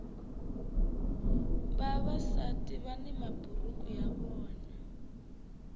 vavasati vani maburuku ya vona